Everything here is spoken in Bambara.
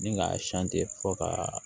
Ni k'a fɔ ka